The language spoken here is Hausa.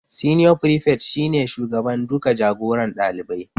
Senior prefect shi ne shugaban duka jagoran ɗalibai